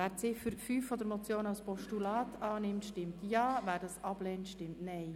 Wer die Ziffer 5 der Motion als Postulat annimmt, stimmt Ja, wer dies ablehnt, stimmt Nein.